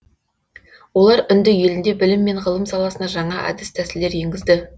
олар үнді елінде білім мен ғылым саласына жаңа әдіс тәсілдер енгізді